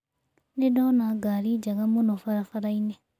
Nĩ ndona ngari njega mũno barabara-inĩ.